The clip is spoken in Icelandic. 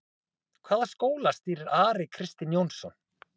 Hvaða skóla stýrir Ari Kristinn Jónsson?